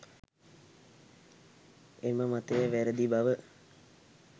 එම මතය වැරැදි බව